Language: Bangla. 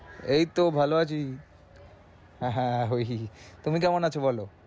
এইতো ভালো আছি। হা হা হি হি হি তুমি কেমন আছো বলো।